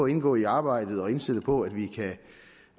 indgå i arbejdet og indstillet på at vi kan